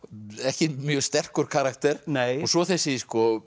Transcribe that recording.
ekki mjög sterkur karakter nei og svo þessi